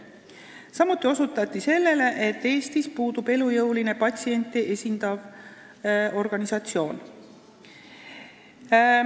Samuti osutati sellele, et Eestis puudub elujõuline patsiente esindav organisatsioon.